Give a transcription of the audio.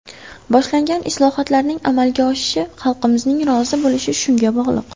Boshlangan islohotlarning amalga oshishi, xalqimizning rozi bo‘lishi shunga bog‘liq.